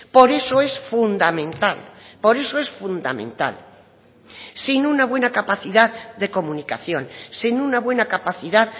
por eso es fundamental por eso es fundamental sin una buena capacidad de comunicación sin una buena capacidad